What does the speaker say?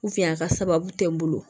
a ka sababu tɛ n bolo